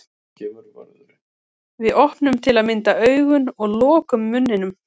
Við opnum til að mynda augun og lokum munninum.